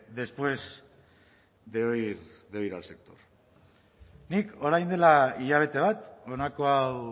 después de oír al sector nik orain dela hilabete bat honako hau